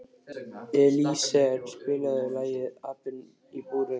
Elíeser, spilaðu lagið „Apinn í búrinu“.